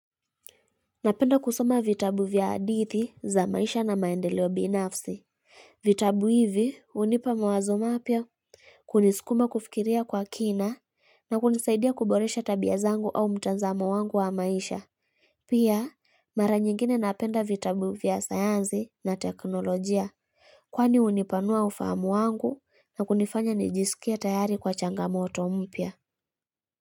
Napenda kusoma vitabu vya hadithi za maisha na maendeleo binafsi. Vitabu hivi hunipa mawazo mapya, kunisukuma kufikiria kwa kina na kunisaidia kuboresha tabia zangu au mtanzamo wangu wa maisha. Pia, mara nyingine napenda vitabu vya sayansi na teknolojia kwani hunipanua ufahamu wangu na kunifanya nijisikie tayari kwa changamoto mpya.